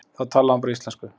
Þá talaði hún bara íslensku.